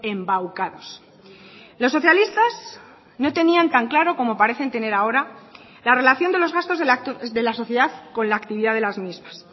embaucados los socialistas no tenían tan claro como parecen tener ahora la relación de los gastos de la sociedad con la actividad de las mismas